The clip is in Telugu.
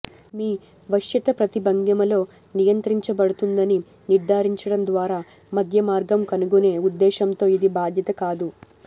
మీ వశ్యత ప్రతి భంగిమలో నియంత్రించబడుతుందని నిర్ధారించడం ద్వారా మధ్య మార్గం కనుగొనే ఉద్దేశంతో ఇది బాధ్యత కాదు